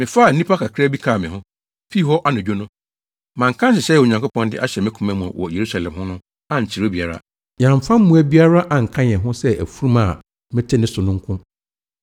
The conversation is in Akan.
mefaa nnipa kakraa bi kaa me ho, fii hɔ anadwo no. Manka nhyehyɛe a Onyankopɔn de ahyɛ me koma mu wɔ Yerusalem ho no ankyerɛ obiara. Yɛamfa mmoa biara anka yɛn ho sɛ afurum a mete ne so no nko.